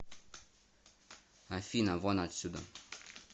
афина вон отсюда